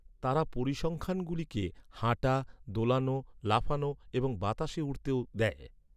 তারা পরিসংখ্যানগুলিকে হাঁটা, দোলানো, লাফানো এবং বাতাসে উড়তেও দেয়।